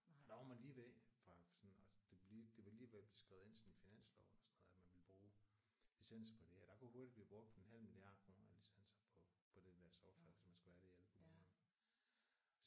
Og der var man lige ved fra sådan det var lige det var lige ved at blive skrevet ind sådan i finansloven og sådan noget at man ville bruge licens på det her og der kunne hurtigt blive brugt en halv milliard kroner af licensen på på den der software hvis man skulle have det i alt på 100